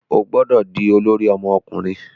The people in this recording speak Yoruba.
O gbọdọ di olori ọmọkunrin